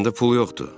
Məndə pul yoxdur.